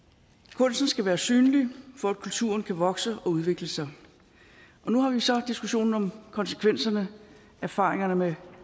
kunsten skal være synlig for at kulturen kan vokse og udvikle sig og nu har vi så diskussionen om konsekvenserne og erfaringerne med